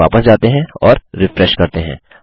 चलिए वापस जाते हैं और रिफ्रेश करते हैं